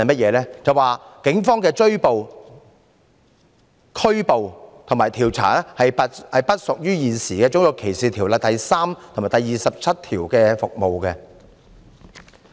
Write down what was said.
便是警方進行的拘捕和調查不屬於現時《種族歧視條例》第3及27條中所指的"服務"。